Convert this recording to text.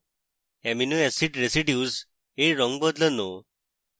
amino acid residues এর রঙ বদলানো